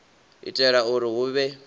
u itela uri hu vhe